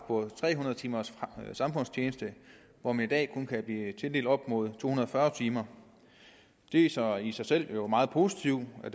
på tre hundrede timers samfundstjeneste hvor man i dag kun kan blive tildelt op imod to hundrede og fyrre timer det er så i sig selv meget positivt at